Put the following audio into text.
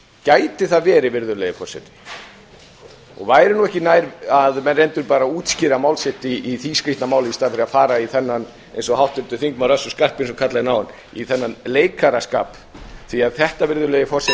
gæti það verið og væri nú ekki nær að menn reyndu að útskýra mál sitt í því skrýtna máli í staðinn fyrir að fara í þennan eins og háttvirtur þingmaður össur skarphéðinsson kallaði hér áðan í þennan leikaraskap því þetta